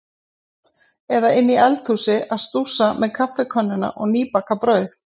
Eða inni í eldhúsi að stússa með kaffikönnuna og nýbakað brauð.